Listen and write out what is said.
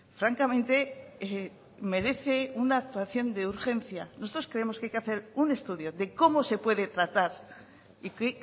francamente merece una actuación de urgencia nosotros creemos que hay que hacer un estudio de cómo se puede tratar y qué